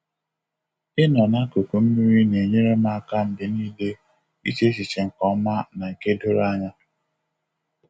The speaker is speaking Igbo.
Ịnọ n'akụkụ mmiri na-enyere m aka mgbe niile iche echiche nke ọma na nke doro anya.